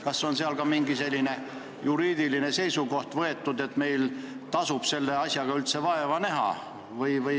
Kas on olemas juriidiline seisukoht, et meil tasub selle asjaga üldse vaeva näha?